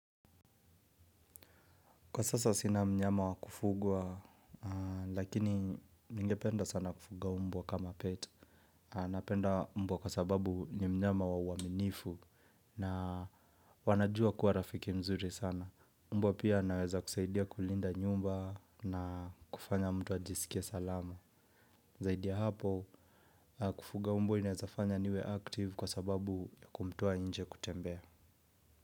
Kwa sasa sina mnyama wa kufugwa, lakini ningependa sana kufuga mbwa kama pet. Napenda mbwa kwa sababu ni mnyama wa uaminifu na wanajua kuwa rafiki mzuri sana. Umbo pia anaweza kusaidia kulinda nyumba na kufanya mtu ajisikie salama. Zaidi ya hapo, kufuga mbwa inaeza fanya niwe active kwa sababu ya kumtoa nje kutembea.